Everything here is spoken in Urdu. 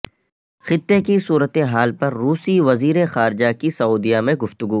خطے کی صورت حال پر روسی وزیر خارجہ کی سعودیہ میں گفتگو